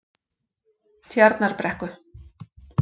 Tjarnarbrekku